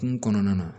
Kungo kɔnɔna na